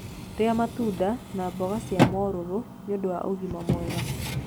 rĩa matunda na mboga cia mũrũrũ niudu wa ũgima mwega